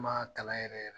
N m'a kalan yɛrɛ yɛrɛ